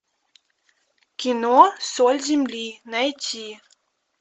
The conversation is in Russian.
кино соль земли найти